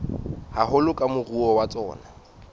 haholo ke moruo wa tsona